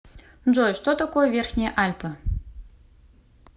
джой что такое верхние альпы